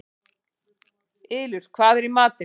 Ylur, hvað er í matinn?